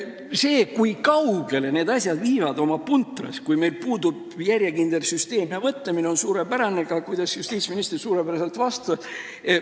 Seda, kui kaugele puntrasse võivad need asjad viia, kui meil puudub järjekindel süsteem ja mõtlemine, näitab suurepäraselt ka see, kuidas justiitsminister suurepäraselt vastas.